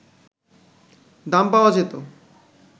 দাম পাওয়া যেত